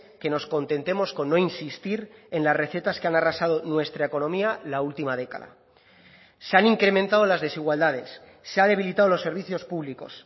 que nos contentemos con no insistir en las recetas que han arrasado nuestra economía la última década se han incrementado las desigualdades se ha debilitado los servicios públicos